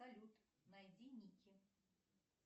салют найди ники